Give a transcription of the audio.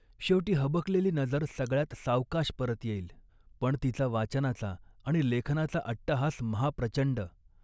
शेवटी हबकलेली नजर सगळ्यात सावकाश परत येईल. पण तिचा वाचनाचा आणि लेखनाचा अट्टहास महाप्रचंड